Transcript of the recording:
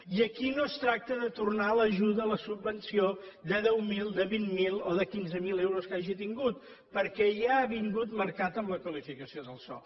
i aquí no es tracta de tornar l’ajuda la subvenció de deu mil de vint mil o de quinze mil euros que hagi tingut perquè ja ha vingut marcat amb la qualificació del sòl